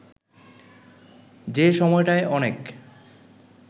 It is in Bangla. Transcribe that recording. যে সময়টায় অনেক